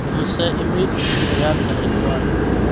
imise iimayl cusub ayaan helay dhawaan